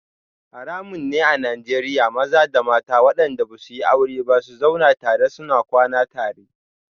Haramun ne a Najeriya maza da mata wadanda ba su yi aure ba su zauna tare suna kwana tare